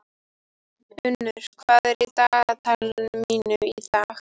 Unnur, hvað er í dagatalinu mínu í dag?